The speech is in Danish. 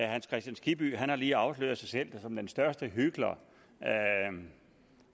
hans kristian skibby har lige afsløret sig selv som måske den største hykler